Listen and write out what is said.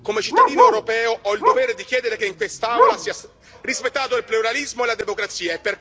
come cittadino europeo, ho il dovere di chiedere che in quest'Aula siano rispettati il pluralismo e la democrazia.